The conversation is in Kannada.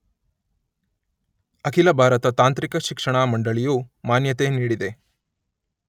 ಅಖಿಲ ಭಾರತ ತಾಂತ್ರಿಕ ಶಿಕ್ಷಣ ಮಂಡಳಿ ಯು ಮಾನ್ಯತೆ ನೀಡಿದೆ .